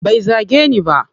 Bai zage ni ba.